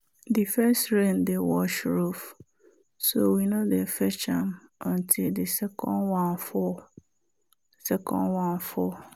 the first rain dey wash roof so we no dey fetch am until the second one fall. second one fall.